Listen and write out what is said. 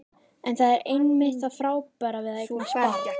En það er einmitt það frábæra við að eignast barn.